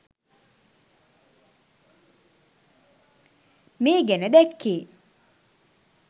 මේ ගැන දැක්කේ.